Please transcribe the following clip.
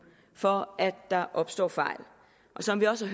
for at der opstår fejl og som vi også